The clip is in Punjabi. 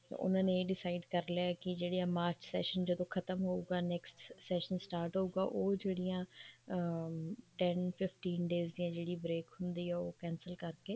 ਉਹਨਾ ਨੇ ਇਹ decide ਕਰ ਲਿਆ ਜਦੋਂ ਮਾਰਚ session ਜਦੋਂ ਖਤਮ ਹੋਊਗਾ next session start ਹੋਊਗਾ ਉਹ ਜਿਹੜੀਆਂ ਅਮ ten fifteen days ਦੀ ਜਿਹੜੀ break ਹੁੰਦੀ ਆ ਉਹ cancel ਕਰਕੇ